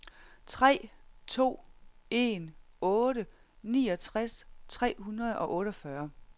tre to en otte niogtres tre hundrede og otteogfyrre